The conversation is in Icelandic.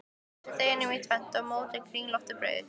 Skiptið deiginu í tvennt og mótið kringlótt brauð.